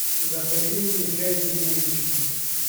закажи мне чай зимняя вишня